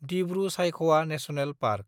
दिब्रु-सायखवा national park